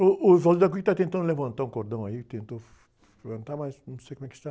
O, o está tentando levantar um cordão aí, tentou levantar, mas não sei como é que está.